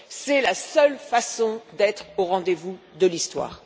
C'est la seule façon d'être au rendez vous de l'histoire.